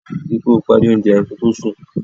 Rí i pé o parí oúnjẹ yẹn ko tó sùn.